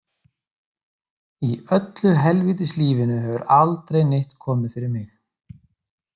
Í öllu helvítis lífinu hefur aldrei neitt komið fyrir mig.